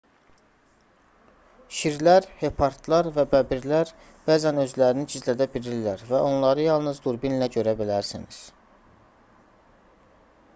şirlər hepardlar və bəbirlər bəzən özlərini gizlədə bilirlər və onları yalnız durbinlə görə bilərsiniz